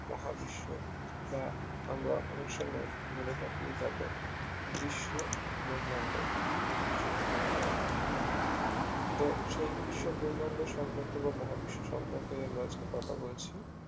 মহাবিশ্ব বা আমরা অনেক সময় বলে থাকি এটাকে বিশ্বব্রহ্মাণ্ড বিশ্বব্রহ্মাণ্ড তো সেই বিশ্বব্রহ্মাণ্ড সম্পর্কে বা মহাবিশ্ব সম্পর্কে আমরা আজকে কথা বলছি